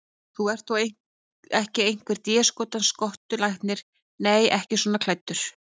Þú ert þó ekki einhver déskotans skottulæknirinn. nei, ekki svona klæddur.